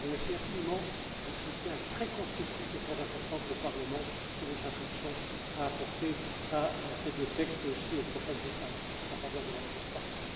Je vous remercie infiniment du soutien très constructif et très important que le Parlement, sous votre impulsion, a apporté à ces deux textes et aussi aux prochaines étapes en faveur de la transparence.